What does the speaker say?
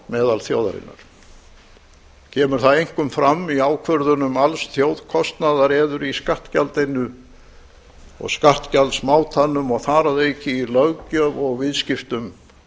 meðal þjóðarinnar kemur það einkum fram í ákvörðun alls þjóðkostnaðar eður í skattgjaldinu og skattgjaldsmátanum og þaraðauki í löggjöf og viðskiptum